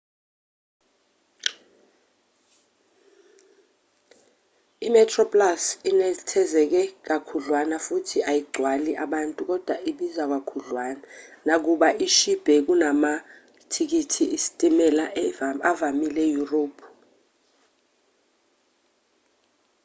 imetroplus inethezeke kakhudlwana futhi ayigcwali abantu kodwa ibiza kakhudlwana nakuba ishibhe kunamathikithi esitimela avamile eyurophu